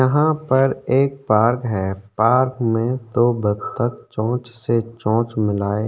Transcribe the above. यहाँ पर एक पार्क है पार्क में दो बत्तख चोंच से चोंच मिलाए --